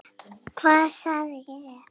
Hvað sagði ég?